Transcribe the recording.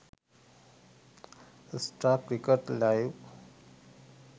star cricket live